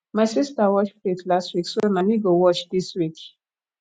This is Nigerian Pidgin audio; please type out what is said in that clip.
my sista wash plate last week so na me go wash dis week